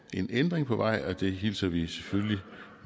en ændring på vej og det hilser vi selvfølgelig